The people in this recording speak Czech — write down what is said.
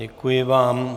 Děkuji vám.